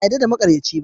Ba a yarda da maƙaryaci.